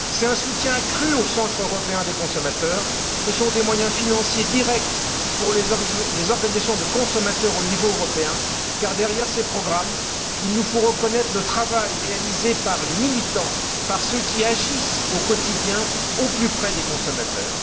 un soutien accru en faveur des centres européens des consommateurs, des moyens financiers directs pour les organisations de consommateurs au niveau européen car, derrière ces programmes, il nous faut reconnaître le travail réalisé par les militants, par ceux qui agissent au quotidien au plus près des consommateurs.